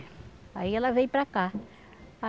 Aí ela veio para cá.